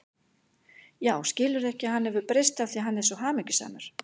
Já, skilurðu ekki að hann hefur breyst af því að hann er svo hamingjusamur.